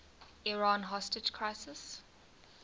iran hostage crisis